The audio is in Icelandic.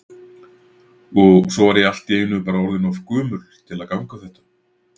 Og svo var ég allt í einu bara orðin of gömul til að ganga þetta.